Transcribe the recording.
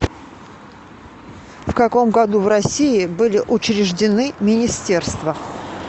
в каком году в россии были учреждены министерства